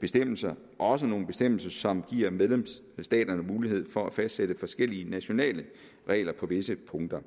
bestemmelser også nogle bestemmelser som giver medlemsstaterne mulighed for at fastsætte forskellige nationale regler på visse punkter